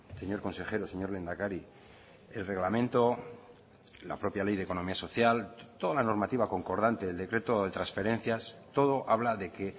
señor consejero señor lehendakari el reglamento la propia ley de economía social toda la normativa concordante del decreto de transferencias todo habla de que